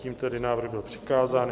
Tím tedy návrh byl přikázán.